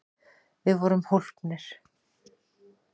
Við vorum hólpnir!